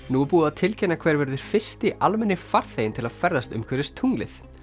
nú er búið að tilkynna hver verður fyrsti almenni farþeginn til að ferðast umhverfis tunglið